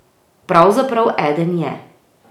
Pravzaprav eden je.